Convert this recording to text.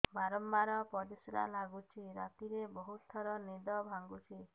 ବାରମ୍ବାର ପରିଶ୍ରା ଲାଗୁଚି ରାତିରେ ବହୁତ ଥର ନିଦ ଭାଙ୍ଗୁଛି